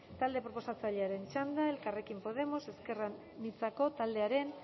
talde proposatzailearen txanda elkarrekin podemos ezker anitzako taldearen